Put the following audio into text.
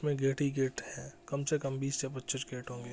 मे gate ही gate है कम से कम बीस या पच्चीस गेट होंगे।